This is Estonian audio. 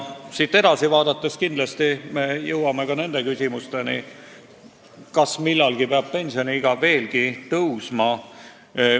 Siit edasi vaadates jõuame kindlasti ka küsimuseni, kas millalgi peab pensioniiga veelgi tõstma.